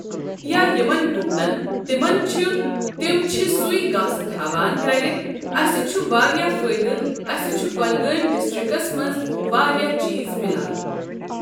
یا یمن گپنن تِمن چھ تم چھ سے گاسہٕ تھاوان گر اَسہ چھ واریاہ فٲٖیدٕ اسہ چھ کۄلگٲمۍ ڈسٹرکس منٛز واریاہ چیٖز میلان۔